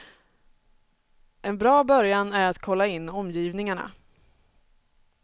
En bra början är att kolla in omgivningarna.